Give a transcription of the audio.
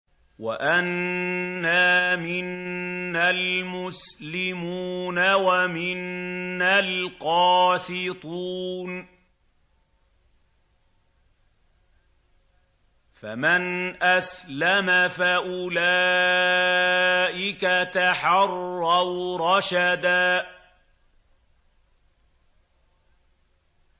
وَأَنَّا مِنَّا الْمُسْلِمُونَ وَمِنَّا الْقَاسِطُونَ ۖ فَمَنْ أَسْلَمَ فَأُولَٰئِكَ تَحَرَّوْا رَشَدًا